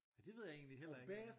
Ja det ved jeg egentlig heller ikke